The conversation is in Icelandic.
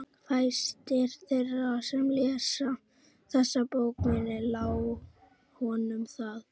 Fæstir þeirra sem lesa þessa bók munu lá honum það.